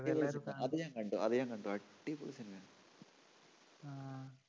അത് ഞാൻ കണ്ടു അത് ഞാൻ കണ്ടു അടിപൊളി cinema യാണ്. ആ